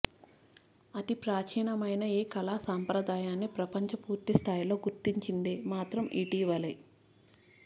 అతి ప్రాచీనమైన ఈ కళా సంప్రదాయాన్ని ప్రపంచం పూర్తి స్థాయిలో గుర్తించింది మాత్రం ఇటీవలే